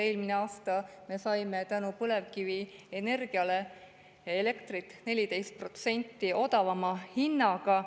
Eelmine aasta me saime tänu põlevkivienergiale elektrit 14% odavama hinnaga.